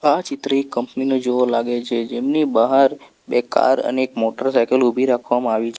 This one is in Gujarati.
આ ચિત્ર એક કંપની ના જેવો લાગે છે જેમની બહાર બે કાર અનેક મોટર સાયકલ ઉભી રાખવામાં આવી --